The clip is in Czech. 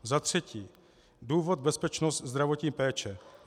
Za třetí, důvod, bezpečnost, zdravotní péče.